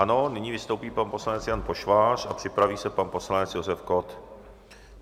Ano, nyní vystoupí pan poslanec Jan Pošvář a připraví se pan poslanec Josef Kott.